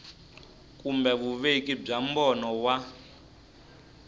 kumbe vuveki bya mbono wa